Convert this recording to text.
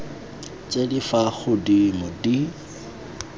tse di fa godimo di